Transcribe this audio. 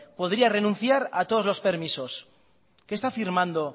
podría renunciar a todos los permisos qué está firmando